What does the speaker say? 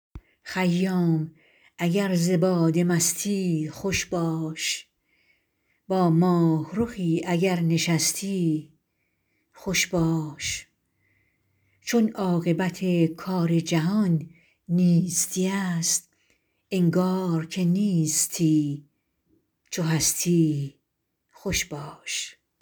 خیام اگر ز باده مستی خوش باش با ماهرخی اگر نشستی خوش باش چون عاقبت کار جهان نیستی است انگار که نیستی چو هستی خوش باش